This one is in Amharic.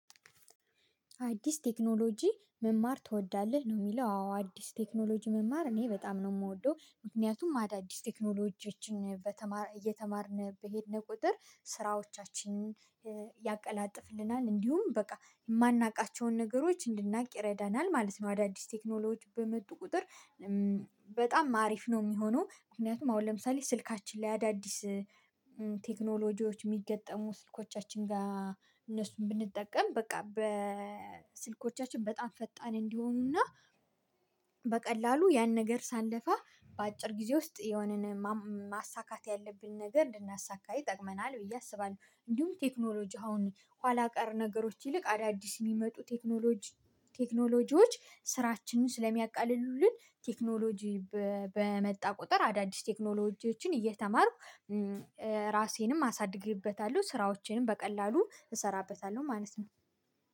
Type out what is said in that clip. አዲስ ቴክኖሎጂ መማር ትወዳለህ ነው የሚለው? አዎ አዲስ ቴክኖሎጂ መማር እኔ በጣም ነው የምወደው ምክንያቱም አዳዲስ ቴክኖሎጂዎችን በተማር እየተማርን በሄድን ቁጥር ስራዎቻችንን ያቀላጥፍልናል እንዲሁም በቃ የማናውቃቸውን ነገሮች እንድናቅ ይረዳናል ማለት ነው። አዳዲስ ቴክኖሎጂ በመጡ ቁጥር በጣም አሪፍ ነው የሚሆነው። ምክንያቱም አሁን ለምሳሌ ስልካችን ላይ አዳዲስ ቴክኖሎጂዎች የሚገጥሙ ስልኮቻችን ጋር እነሱን ብንጠቀም በቃ በስልኮቻችን በጣም ፈጣን እንዲሆኑና በቀላሉ ያን ነገር ሳንለፋ በአጭር ጊዜ ውስጥ የሆነን ማም ማሳካት ያለብን ነገር ልናሳካ ይጠቅመናል ብዬ አስባለሁ። እንዲሁም ቴክኖሎጂ አሁን ኋላ ቀር ነገሮች ይልቅ አዳዲስ የሚመጡ ቴክኖሎጂ ቴክኖሎጂዎች ስራችንን ስለሚያቃልሉልን ቴክኖሎጂ በ በመጣ ቁጥር አዳዲስ ቴክኖሎጂዎችን እየተማርኩ ራሴንም አሳድግበታለሁ ስራዎቼንም በቀላሉ እሰራበታለሁ ማለት ነው